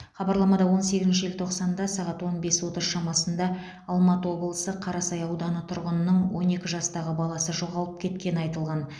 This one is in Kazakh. хабарламада он сегізінші желтоқсанда сағат он бес отыз шамасында алматы облысы қарасай ауданы тұрғынының он екі жастағы баласы жоғалып кеткені айтылған